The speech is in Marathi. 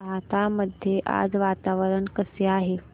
राहता मध्ये आज वातावरण कसे आहे